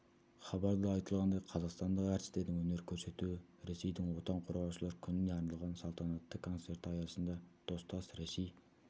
хабарда айтылғандай қазақстандық әртістердің өнер көрсетуі ресейдің отан қорғаушылар күніне арналған салтанатты концерті аясында достас ресей